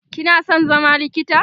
kina San zama likita?